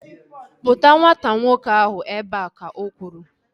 Kpụta nwata nwoke ahu ebea! Ka o kwuru